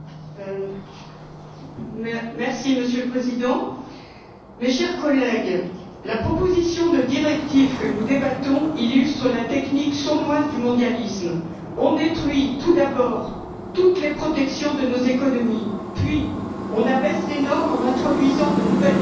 Monsieur le Président, mes chers collègues, la proposition de directive que nous débattons illustre la technique sournoise du mondialisme on détruit tout d'abord toutes les protections de nos économies, puis on abaisse les normes en introduisant de nouvelles techniques qui fleurissent au gré du libre échange